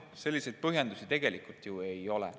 Selliseid põhjendusi tegelikult ju ei ole.